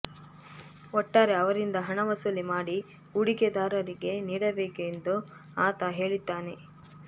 ಒಟ್ಟಾರೆ ಅವರಿಂದ ಹಣ ವಸೂಲಿ ಮಾಡಿ ಹೂಡಿಕೆದಾರರಿಗೆ ನೀಡಬೇಕೆಂದು ಆತ ಹೇಳಿದ್ದಾನೆ